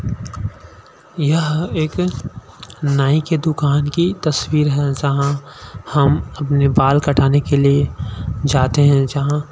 यह एक नाई की दुकान की तस्वीर है जहाँ हम अपने बाल कटाने के लिए जाते हैं जहाँ--